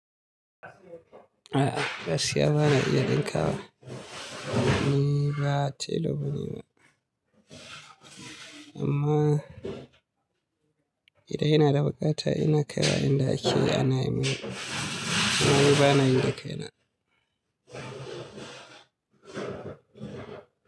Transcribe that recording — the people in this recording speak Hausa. A'a, gaskiya ba na iya ɗinka wa. Ni ba tailor bane ba. Amma idan ina da buƙata ina kaiwa inda ake ana yi min. Amma ni bana yin dakai na.